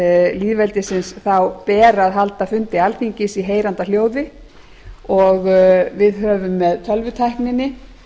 lýðveldisins ber að halda fundi alþingis í heyranda hljóði og við höfum með tölvutækninni